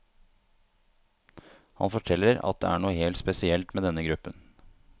Han forteller at det er noe helt spesielt med denne gruppen.